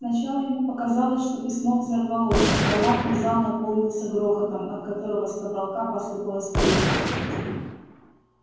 сначала ему показалось что письмо взорвалось громадный зал наполнился грохотом от которого с потолка посыпалась пыль